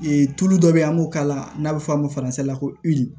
Ee tulu dɔ bɛ yen an b'o k'a la n'a bɛ fɔ a ma la ko